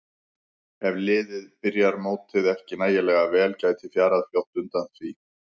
Ef liðið byrjar mótið ekki nægilega vel gæti fjarað fljótt undan hjá því.